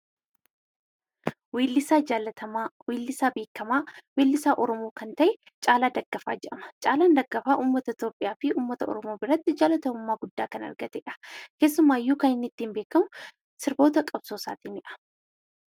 Weellisaa jaallatamaa, weellisaa beekamaa weellisaa oromoo kan ta'e Caalaa Daggafaa jedhama. Caalaan Daggafaa uummata Itoophiyaa fi uummata oromoo biratti jaallatamummaa guddaa kan argatedha. Keessumaayyuu kan inni ittiin beekamu sirboota qabsoodhaanidha.